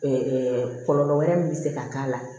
kɔlɔlɔ wɛrɛ min bɛ se ka k'a la